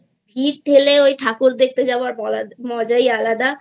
ভিড় ঠেলে ঠাকুর দেখতে যাওয়ার মজাই আলাদা